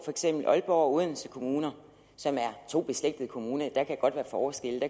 aalborg og odense kommuner som er to beslægtede kommuner der kan godt være forskel